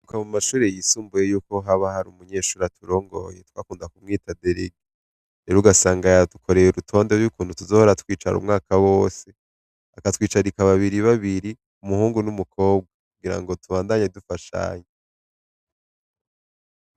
Ka mu mashuri yisumbuye yuko haba hari umunyeshuri aturongoye twakunda kumwita deregi ero ugasanga yadukoreye urutonde ry'ukuntu tuzohora twicara umwaka wose akatwicarika babiri babiri umuhungu n'umukobwa kugira ngo tubandanye dufashanye.